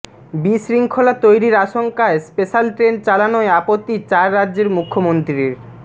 বিশৃঙ্খলা তৈরির আশঙ্কায় স্পেশাল ট্রেন চালানোয় আপত্তি চার রাজ্যের মুখ্যমন্ত্রীর